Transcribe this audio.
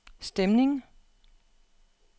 stemning